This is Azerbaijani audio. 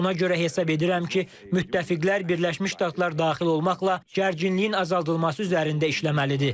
Buna görə hesab edirəm ki, müttəfiqlər Birləşmiş Ştatlar daxil olmaqla gərginliyin azaldılması üzərində işləməlidir.